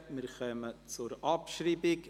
Wir kommen zur Abschreibung: